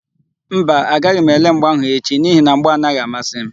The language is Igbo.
Mba, agaghị m ele mgba áhụ̀ echi n'ihi na mgba anaghị amasị m.